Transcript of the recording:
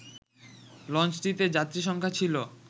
লঞ্চটিতে যাত্রীসংখ্যা ছিল